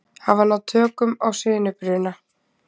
Hafa náð tökum á sinubruna